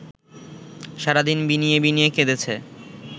সারাদিন বিনিয়ে বিনিয়ে কেঁদেছে